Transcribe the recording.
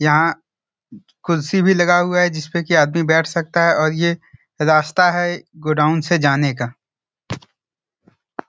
यहाँ कुर्सी भी लगा हुआ है जिसपे की आदमी बैठ सकता है और ये रास्ता है गोडाउन से जाने का।